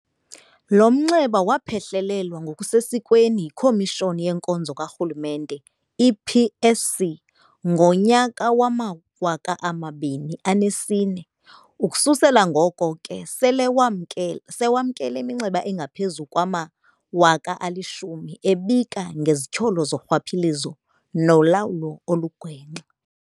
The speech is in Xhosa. Lo mnxeba waphehlelelwa ngokusesikweni yiKomishoni yeNkonzo kaRhulumente, i-PSC, ngonyaka wama-2004, ukususela ngoko ke sele wamkele iminxeba engaphezulu kwama-100 000 ebika ngezityholo zorhwaphilizo nolawulo olugwenxa.